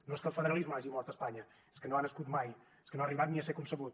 no és que el federalisme hagi mort a espanya és que no ha nascut mai és que no ha arribat ni a ser concebut